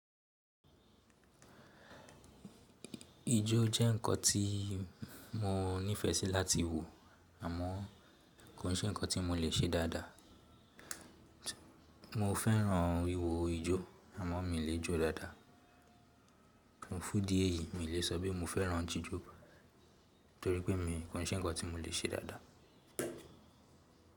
Ijó jẹ́ nǹkan tí mo nífẹẹ sí láti wò àmọ́ kò sí nǹkan tí mo lè ṣe dáadáa. Mo fẹ́ràn wíwo ijó àmọ́ mi lè jó dáadáa. N fun idi eyìí mi ò lè sọ bi mo fẹ́ràn jijó nítorí pé mi kò ṣe nǹkan tí mo lè ṣe dáadáa.